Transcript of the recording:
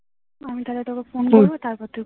আমি তাহলে তোকে ফোন করবো তারপর তুই